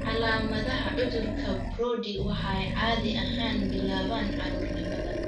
Calaamadaha cudurka Brody waxay caadi ahaan bilaabaan carruurnimada.